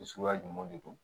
Suguya jumɛnw de don